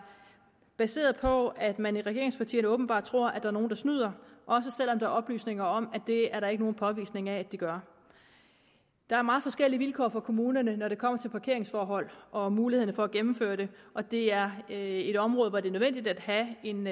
baseret på at man i regeringspartierne åbenbart tror der er nogle der snyder også selv om der er oplysninger om at det er der ikke nogen påvisning af at de gør der er meget forskellige vilkår for kommunerne når det kommer til parkeringsforhold og mulighederne for at gennemføre det og det er er et område hvor det er nødvendigt at have en